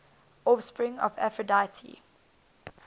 offspring of aphrodite